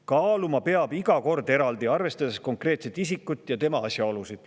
Kaaluma peab iga kord eraldi, arvestades konkreetset isikut ja temaga seotud asjaolusid.